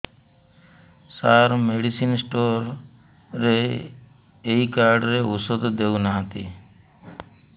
ସାର medicine store ରେ ଏଇ card ରେ ଔଷଧ ଦଉନାହାନ୍ତି